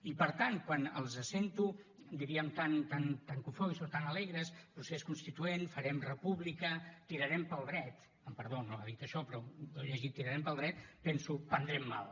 i per tant quan els sento diríem tan cofois o tan alegres procés constituent farem república tirarem pel dret amb perdó no ha dit això però jo he llegit tirarem pel dret penso prendrem mal